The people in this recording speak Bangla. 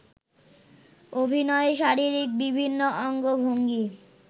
অভিনয়ে শারীরিক বিভিন্ন অঙ্গভঙ্গি